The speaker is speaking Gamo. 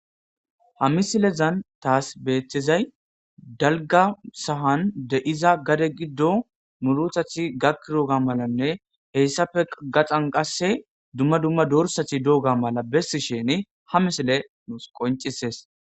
Ha misilezan taas beethtizay dalga sahan de iza gade giddo muruthath gakkiroga malanne heyssafe gaxan qasse dumma dumma dorsathi dooga mala bessi sheni ha misile nuus qoncisees.